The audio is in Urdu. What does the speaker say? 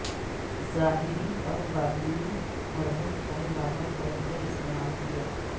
ظاہری اور باطنی ہربل چائے بابا طور پر استعمال کیا